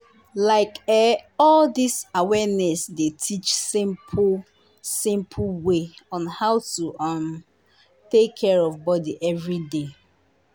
like eh all dis awareness dey teach simple simple way on how to um take care of body everyday.